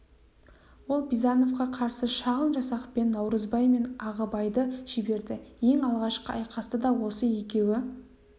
ол бизановқа қарсы шағын жасақпен наурызбай мен ағыбайды жіберді ең алғашқы айқасты да осы екеуі